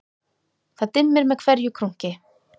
Það dimmir með hverju krunki